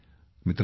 मित्रांनो